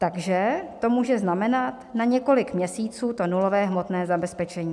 Takže to může znamenat na několik měsíců to nulové hmotné zabezpečení.